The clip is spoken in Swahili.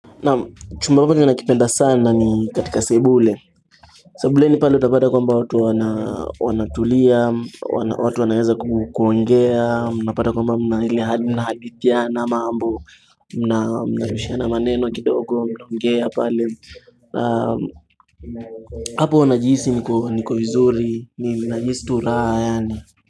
Naam chumba ambacho nakipenda sana ni katika sebule Sebuleni pale utapata kwamba watu wanatulia watu wanaweza kuongea Unapata kwamba mna hadithiana mambo mnarushiana maneno kidogo mna ongea pale hapo huwa najihisi niko vizuri najihisi tu raha yaani.